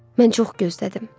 Mən çox gözlədim.